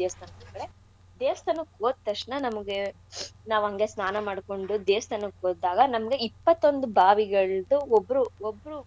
ದೇವ್ಸ್ತಾನಕ್ಕೆ ದೇವ್ಸ್ತಾನಕ್ ಓದ್ ತಕ್ಷ್ಣ ನಮ್ಗೆ ನಾವ್ ಅಂಗೆ ಸ್ನಾನ ಮಾಡ್ಕೊಂಡು ದೇವ್ಸ್ತಾನಕ್ ಓದಾಗ ನಮ್ಗೆ ಇಪ್ಪತ್ತೊಂದ್ ಬಾವಿಗಳ್ದು ಒಬ್ರು ಒಬ್ರು